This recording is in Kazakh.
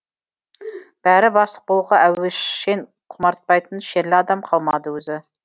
бәрі бастық болуға әуес шен құмартпайтын шерлі адам қалмады өзі